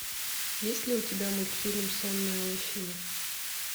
есть ли у тебя мультфильм сонная лощина